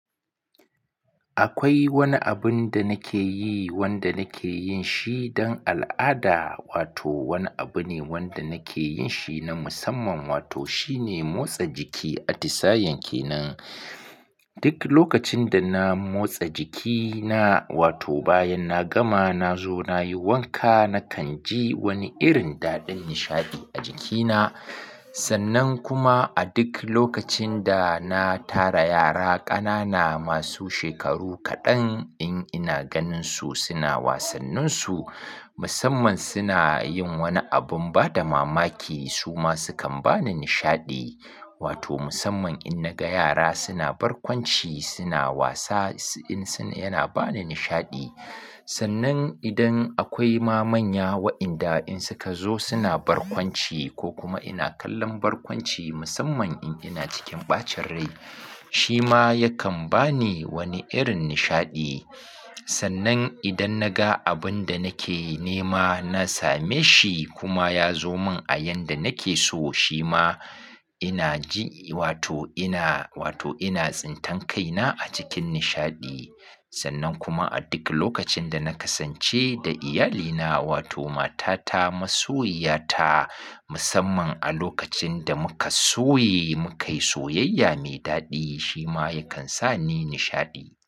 Akwai wani abun da nake yi wanda nake yin shi don al'ada wato wani abu ne wanda nake yin shi na musamman wato shine motsa jiki. A tisayen ke nan duk lokacin da na motsa jikina wato bayan na gama na zo nayi wanka nakan ji wani irin daɗin nishaɗi a jikina. Sannan kuma a duk lokacin da na tara yara ƙanana masu shekaru kaɗan in ina ganin su suna wasannin su musamman suna yin wani abun bada mamaki su ma sukan bani nishaɗi wato musamman in naga yara suna barkwanci suna wasa in suna yana bani nishaɗi. Sannan idan akwai ma manya wa'inda in suka zo suna barkwanci ko kuma ina kallon barkwanci musamman in ina cikin ɓacin rai shi ma yakan bani wani irin nishaɗi. Sannan idan naga abun da nake nema na same shi kuma yazo min a yanda nake so shi ma ina ji wato ina wato ina tsintan kaina a cikin nishaɗi. Sannan kuma a duk lokacin da na kasance da iyalina wato matata masoyiyata musamman a lokacin da muka soye mukayi soyayya me daɗi shi ma yakan sani nishaɗi.